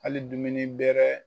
ali dumuni bɛrɛ.